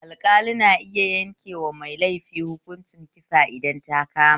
Alɗƙali na iya yankewa mai laifi hukuncin kisa idan ta kama